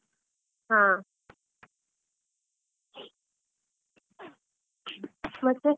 ಹಾ, ಮತ್ತೆ.